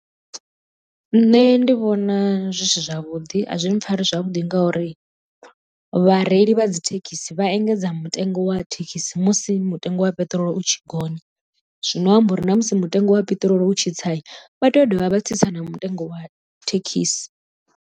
Nṋe ndi vhona zwi si zwavhuḓi a zwi mpfhari zwavhuḓi ngauri vhareili vha dzithekhisi vha engedza mutengo wa thekhisi musi mutengo wa peṱirolo u tshi gonya, zwino amba uri na musi mutengo wa peṱirolo u tshi tsai vha tea u dovha vha tsitsa na mutengo wa thekhisi.